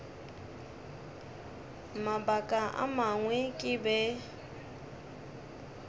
mabaka a mangwe ke be